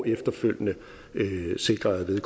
efterfølgende sikrer at